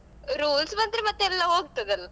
Rules ಬಂದ್ರೆ ಮತ್ತೆಲ್ಲ ಹೋಗ್ತದಲ್ಲ.